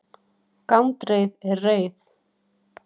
gandreið er reið